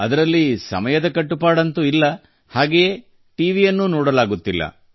ಅದರಲ್ಲಿ ಸಮಯದ ಕಟ್ಟುಪಾಡಂತೂ ಇಲ್ಲ ಮತ್ತು ಅದರಂತೆ ಟಿವಿಯನ್ನು ನೋಡಲಾಗುವುದಿಲ್ಲ